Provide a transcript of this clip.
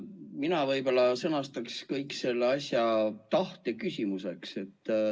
Mina võib-olla sõnastaks kogu selle asja tahte küsimuseks.